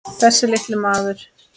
Þessi litli maður.